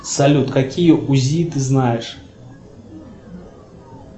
салют какие узи ты знаешь